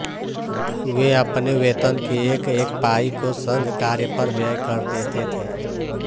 वे अपने वेतन की एकएक पाई को संघकार्य पर व्यय कर देते थे